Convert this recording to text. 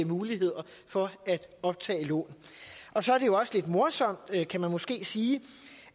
muligheder for at optage lån og så er det jo også lidt morsomt kan man måske sige